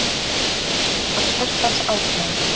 Marteinn roðnaði af hjartans ákefð.